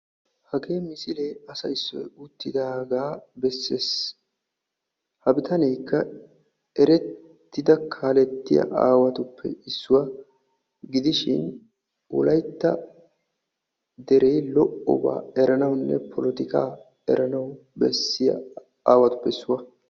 Hage misiliya asa issoy uttidagaa bessees ha bitanekka erettidda kaaletiya asattuppe issuwa gidiishin wolaytta dere lo''oba eranawunne polotikka eranawubessiya aawatuppe issuwaa.